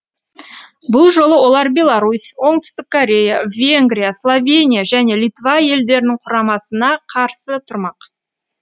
бұл жолы олар беларусь оңтүстік корея венгрия словения және литва елдерінің құрамасына қарсы тұрмақ